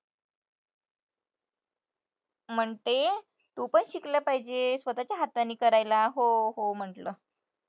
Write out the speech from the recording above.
म्हणते, तू पण शिकलं पाहिजे स्वतःच्या हाताने करायला. हो हो म्हंटलं.